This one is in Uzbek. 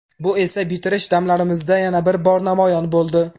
Bu esa bitirish damlarimizda yana bir bor namoyon bo‘ldi.